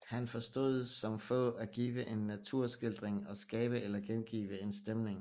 Han forstod som få at give en naturskildring og at skabe eller gengive en stemning